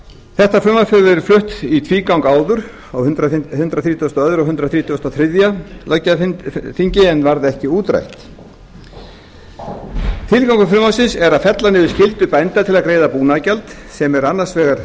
þetta frumvarp hefur verið flutt í tvígang áður á hundrað þrítugasta og öðrum og hundrað þrítugasta og þriðja löggjafarþingi en varð ekki útrætt tilgangur frumvarpsins er að fella niður skyldu bænda til að greiða búnaðargjald sem er annars vegar